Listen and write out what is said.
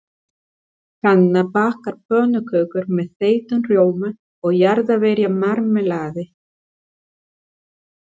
Hanna bakar pönnukökur með þeyttum rjóma og jarðarberjamarmelaði.